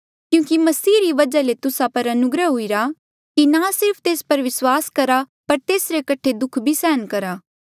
क्यूंकि मसीह री वजहा ले तुस्सा पर ये अनुग्रह हुईरा कि ना सिर्फ तेस पर विस्वास करा पर तेसरे कठे दुःख भी सहन करा